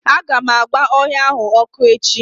Aga m agba ọhịa ahụ ọkụ echi.